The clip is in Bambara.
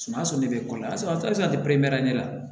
Sumaya sɔrɔ ne bɛ kɔsɔbɛ ne la